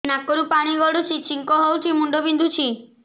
ନାକରୁ ପାଣି ଗଡୁଛି ଛିଙ୍କ ହଉଚି ମୁଣ୍ଡ ବିନ୍ଧୁଛି